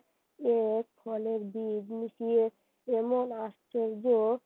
কেমন আশ্চর্য